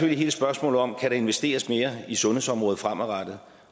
hele spørgsmålet om om der kan investeres mere i sundhedsområdet fremadrettet